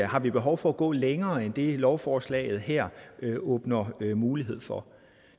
har behov for at gå længere end det lovforslaget her åbner mulighed for